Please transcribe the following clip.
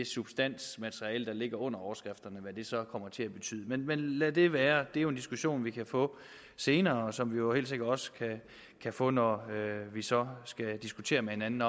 substansmateriale der ligger under overskrifterne og hvad det så kommer til at betyde men lad det være det er jo en diskussion vi kan få senere og som vi jo helt sikkert også kan få når vi så skal diskutere med hinanden